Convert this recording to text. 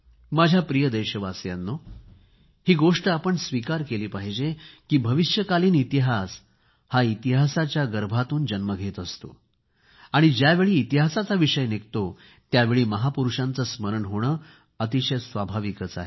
माझ्या प्रिय देशवासियांनो ही गोष्ट आपण स्वीकार केली पाहिजे की भावी इतिहास हा इतिहासाच्या गर्भातून जन्म घेत असतो आणि ज्यावेळी इतिहासाचा विषय निघतो त्यावेळी महापुरूषांचे स्मरण होणे तर अतिशय स्वाभाविक आहे